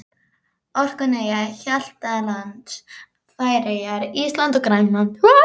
Orkneyja, Hjaltlands, Færeyja, Íslands og Grænlands.